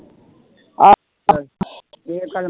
ਇਹ ਪਰ